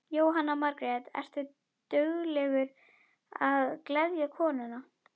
Jóhanna Margrét: Ertu duglegur að gleðja konuna?